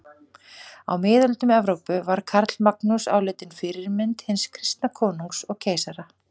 Á miðöldum Evrópu var Karlamagnús álitinn fyrirmynd hins kristna konungs og keisara.